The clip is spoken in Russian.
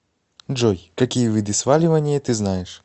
джой какие виды сваливание ты знаешь